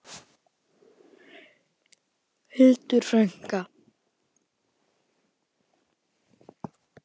Hildur frænka.